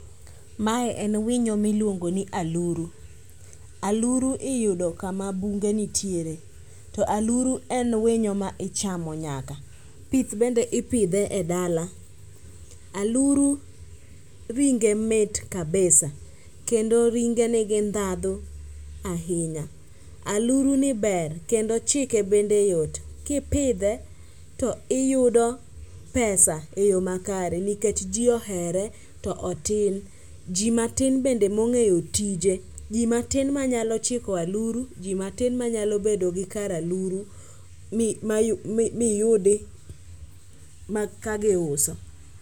Mae en winyo miluongo ni aluru. Aluru iyudo kama bunge nitiere to aluru en winyo ma ichamo nyaka pith bende ipidhe e dala. Aluru ringe mit kabisa kendo ringe nigi ndhadhu ahinya. Aluruni ber kendo chike bende yot, kipidhe to iyudo pesa e yo makare nikech ji ohere to otin. Ji matin bende mong'eyo tije, ji matin manyalo chikop aluru, ji matin manyalo bedo gi kar aluru miyudi ka giuso.